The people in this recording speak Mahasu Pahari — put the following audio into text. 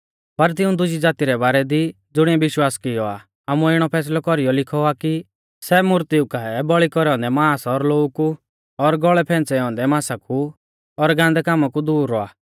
पर तिऊं दुजी ज़ाती रै बारै दी ज़ुणिऐ विश्वास कियौ आ आमुऐ इणौ फैसलौ कौरीयौ लिखौ आ कि सै मूर्तीऊ काऐ बौल़ी कौरै औन्दै मांस और लोऊ कु और गौल़ै फैंच़ै औन्दै मांसा कु और गान्दै कामा कु दूर रौआ